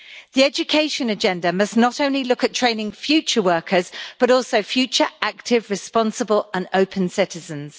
The education agenda must not only look at training future workers, but also future active, responsible and open citizens.